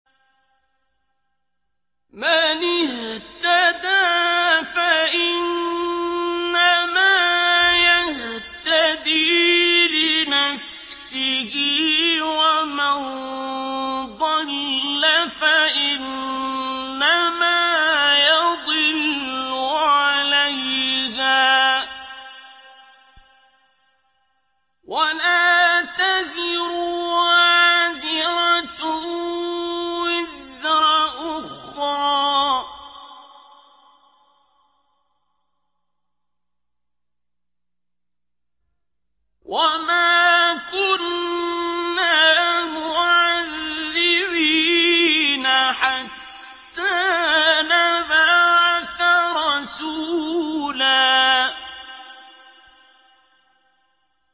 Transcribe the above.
مَّنِ اهْتَدَىٰ فَإِنَّمَا يَهْتَدِي لِنَفْسِهِ ۖ وَمَن ضَلَّ فَإِنَّمَا يَضِلُّ عَلَيْهَا ۚ وَلَا تَزِرُ وَازِرَةٌ وِزْرَ أُخْرَىٰ ۗ وَمَا كُنَّا مُعَذِّبِينَ حَتَّىٰ نَبْعَثَ رَسُولًا